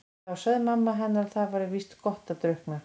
En þá sagði mamma henni að það væri víst gott að drukkna.